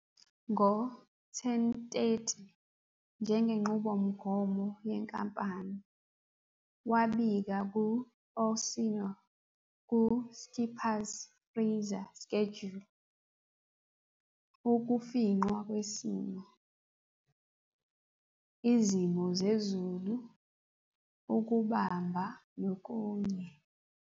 Ngo-10- 30, njengenqubomgomo yenkampani, wabika ku- "Orsino" ku "Skipper's Freezer Schedule" - ukufingqwa kwesimo, izimo zezulu, ukubamba nokunye.